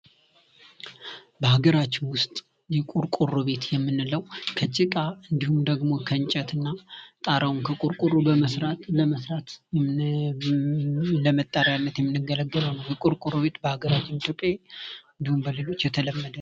ቡና ቤቶችና ምግብ ቤቶች ሰዎች የሚገናኙበት፣ የሚዝናኑበትና የተለያዩ መጠጦችንና ምግቦችን የሚቀምሱበት ማህበራዊና ኢኮኖሚያዊ ስፍራዎች ናቸው።